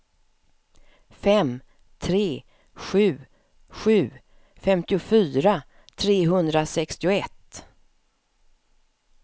fem tre sju sju femtiofyra trehundrasextioett